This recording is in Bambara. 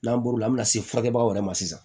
N'an bɔr'o la min bɛ na se furakɛkɛbagaw yɛrɛ ma sisan